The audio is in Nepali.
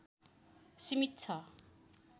सीमित छ